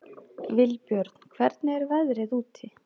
Vilbjörn, hvernig er veðrið úti?